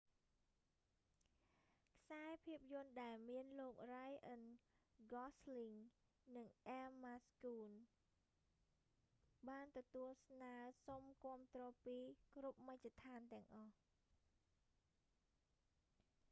ខ្សែភាពយន្តដែលមានលោករ៉ាយអឹន ហ្គសស្លីង ryan gosling និងអ៊ែមម៉ាស្តូន emma stone បានទទួលស្នើរសុំគាំទ្រពីគ្រប់មជ្ឈដ្ឋានទាំងអស់